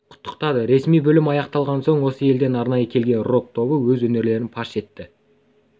құттықтады ресми бөлім аяқталған соң осы елден арнайы келген рок тобы өз өнерлерін паш етті